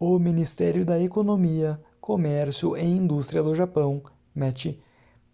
o ministério da economia comércio e indústria do japão meti